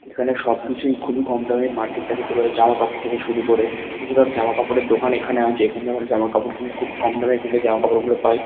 এখানে সবকিছুই খুবই কম দামে। এই মার্কেট - টার ভেতরে জামা কাপড় থেকে শুরু করে বেশিরভাগ জামাকাপড়ের দোকান এখানে আছে এখানেও জামা কাপড় কিনে খুব কম দামে এখানে জামাকাপড় গুলো পাই।